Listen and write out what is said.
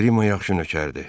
Qriqo yaxşı nökərdir.